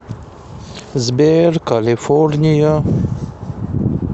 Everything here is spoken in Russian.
сбер калифорния